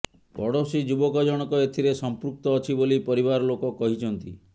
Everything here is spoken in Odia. ପଡ଼ୋଶୀ ଯୁବକ ଜଣକ ଏଥିରେ ସଂପୃକ୍ତ ଅଛି ବୋଲି ପରିବାର ଲୋକ କହିଛନ୍ତି